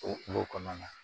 O kungo kɔnɔna na